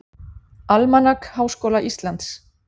Almanak Háskóla Íslands.